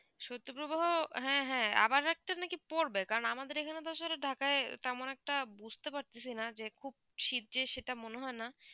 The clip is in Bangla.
শৈত্য প্রবাহ হ্যাঁ হ্যাঁ আবার একটা না পড়বে কারণ আমাদের এখানে তো ঢাকায় তেমন একটা বুঝতে পারতেছি না যে খুখুব শীত যে সেটা মনে হয় না